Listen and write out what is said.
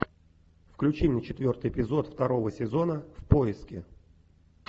включи мне четвертый эпизод второго сезона в поиске